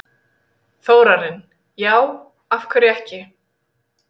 Þórarinn: Já, af hverju ekki?